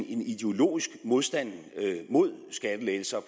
ideologisk modstand mod skattelettelser